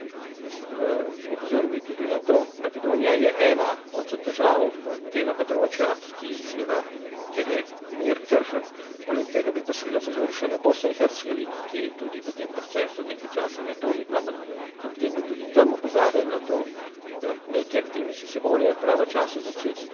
In opozoril bi tudi na to Makedonija je ena od držav tega področja, kjer je mir krhek, poleg tega bi pa seveda opozoril še na Bosno in Hercegovino, ki je tudi v tem procesu nekaj časa, ne toliko, ampak kljub temu tudi tam opozarjajo na to, da neke aktivnosti se morajo pravočasno začeti, da